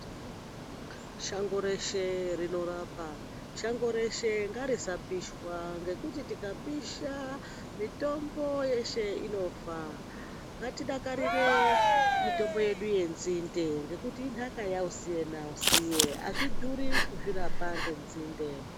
Shango reshe rinorapa, shango reshe ngarisapishwa ngekuti tikapisha mitombo yeshe inofa. N gatidakarire mitombo yedu yenzinde ngekuti inhaka yausiye nausiye azvidhuri kuzvirapa ngenzinde.